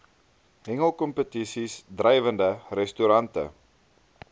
hengelkompetisies drywende restaurante